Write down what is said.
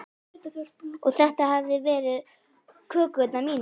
Og þetta hefðu verið kökurnar mínar.